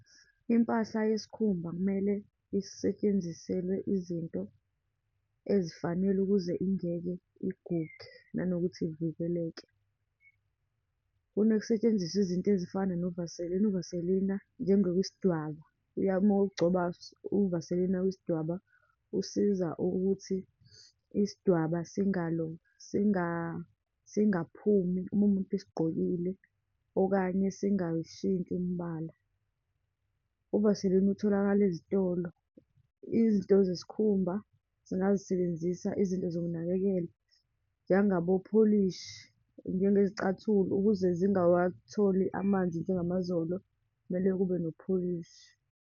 Impahla yesikhumba kumele isetshenziselwe izinto ezifanele, ukuze ingeke iguge, nanokuthi ivikeleke. Kunokusetshenziswa izinto ezifana no-Vaseline. Uvaselina njengokwisidwaba, iya uma ugcoba uvaselina wesidwaba, usiza ukuthi isidwaba , singangaphumi uma umuntu esigqokile, okanye singayishintshi imbala. Uvaselina utholakala ezitolo, izinto zesikhumba singazisebenzisa izinto zokunakekela, njengabopholishi, njengezicathulo ukuze zingawatholi amanzi njengamazolo, kumele kube nopholishi.